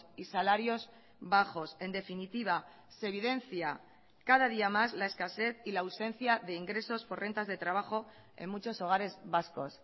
y salarios bajos en definitiva se evidencia cada día más la escasez y la ausencia de ingresos por rentas de trabajo en muchos hogares vascos